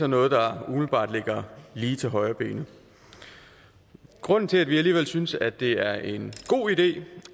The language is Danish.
noget der umiddelbart ligger lige til højrebenet grunden til at vi alligevel synes at det er en god idé